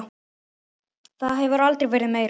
Það hefur aldrei verið meira.